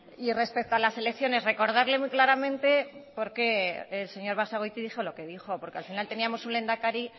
y respecto a las elecciones recordarle muy claramente por qué el señor basagoiti dijo lo que dijo porque al final teníamos un lehendakari